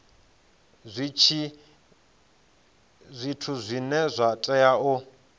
zwithu zwine zwa tea u